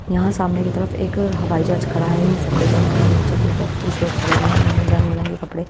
यहाँ सामने की तरफ एक हवाई जहाज खड़ा है यह सफेद रंग का है नीचे की तरफ कुछ लोग खड़े हुए हैं इन्होंने रंगबिलंग के कपड़े--